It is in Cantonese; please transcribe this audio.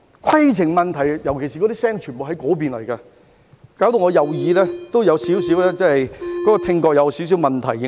"規程問題"，尤其是聲音全部都從那邊傳來，令我右耳的聽覺也有少許問題。